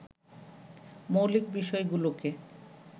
মৌলিক বিষয়গুলোকে